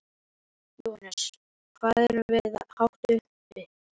Jóhannes: Hvað erum við hátt uppi?